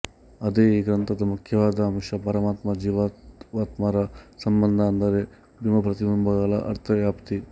ಅದೇ ಈ ಗ್ರಂಥದ ಮುಖ್ಯವಾದ ಅಂಶ ಪರಮಾತ್ಮ ಜೀವಾತ್ಮರ ಸಂಬಂಧ ಅಂದರೆ ಬಿಂಬಪ್ರತಿಬಿಂಬಗಳ ಅರ್ಥ ವ್ಯಾಪ್ತಿ